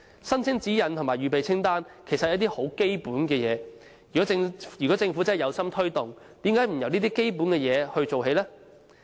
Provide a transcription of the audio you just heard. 申請指引及預備清單其實都是很基本的工作，如果政府真的有心推動，為何不由這些基本工作做起呢？